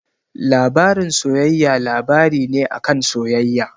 Labarin soyayya labari ne a kan soyayya.